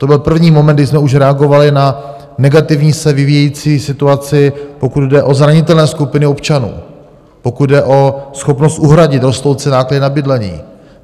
To byl první moment, kdy jsme už reagovali na negativně se vyvíjející situaci, pokud jde o zranitelné skupiny občanů, pokud jde o schopnost uhradit rostoucí náklady na bydlení.